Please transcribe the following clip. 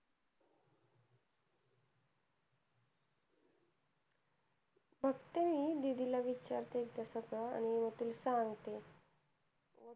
बघते मी दीदी ला विचारते एकदा तस आणि तुला सांगते,